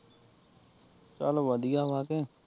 ਚੱਲ ਵਧੀਆ ਵਾਂ ਕਿ